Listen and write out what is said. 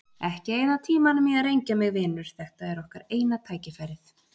Ekki eyða tímanum í að rengja mig, vinur, þetta er okkar eina tækifærið.